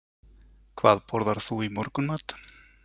Hvað borðar þú í morgunmat?